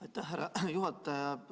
Aitäh, härra juhataja!